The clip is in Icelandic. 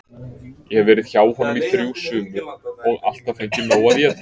Ég hef verið hjá honum í þrjú sumur og alltaf fengið nóg að éta.